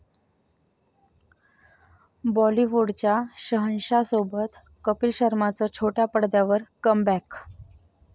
बाॅलिवूडच्या शहेनशहासोबत कपिल शर्माचं छोट्या पडद्यावर कमबॅक